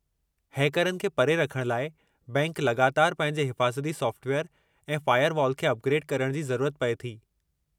हैकरनि खे परे रखण लाइ बैंक लॻातारि पंहिंजे हिफ़ाज़ती सॉफ़्टवेयरु ऐं फ़ायरवॉल खे अपग्रेडु करण जी ज़रूरत पऐ थी।